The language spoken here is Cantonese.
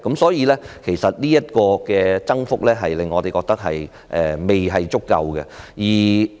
所以，就這個增幅來說，我們覺得並不足夠。